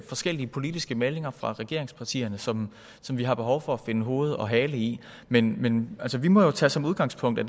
forskellige politiske meldinger fra regeringspartierne som som vi har behov for at finde hoved og hale i men men altså vi må jo tage som udgangspunkt at